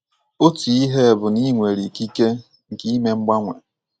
Otu ihe bụ na i nwere ikike nke ime mgbanwe.